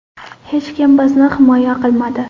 Hech kim bizni himoya qilmadi.